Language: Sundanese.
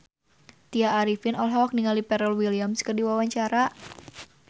Tya Arifin olohok ningali Pharrell Williams keur diwawancara